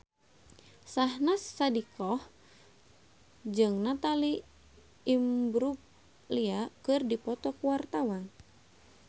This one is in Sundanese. Syahnaz Sadiqah jeung Natalie Imbruglia keur dipoto ku wartawan